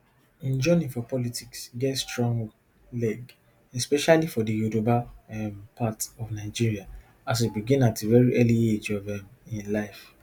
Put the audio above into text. im journey for politics get strong leg especially for di yoruba um part of nigeria as e begin at a veri early age of um im life